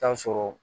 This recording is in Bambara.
Tansɔn sɔrɔ